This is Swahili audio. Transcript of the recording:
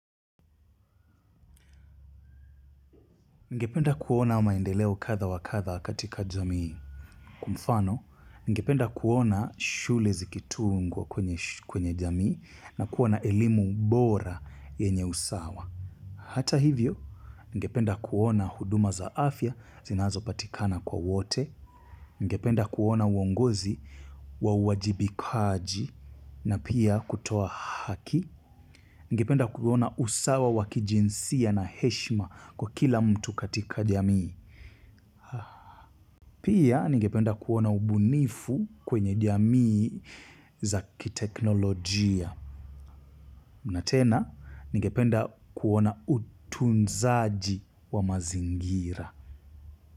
Ngependa kuona maendeleo kadha wakadha katika jamii. Kwamfano, ningependa kuona shule zikitungwa kwenye jamii na kuona elimu bora yenye usawa. Hata hivyo, ningependa kuona huduma za afya zinazo patikana kwa wote. Ningependa kuona uongozi wa wajibikaji na pia kutoa haki. Ningependa kuona usawa wakijinsia na heshima kwa kila mtu katika jamii. Pia ningependa kuona ubunifu kwenye jamii zaki teknolojia. Natena ningependa kuona utunzaji wa mazingira.